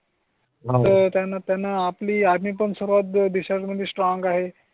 आहे त्यांना त्यांना आपली आम्ही पण सर्वात देशां मध्ये स्ट्रॉंग आहे.